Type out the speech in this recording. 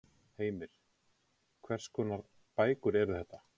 Heimir: Hvers konar bækur eru þetta?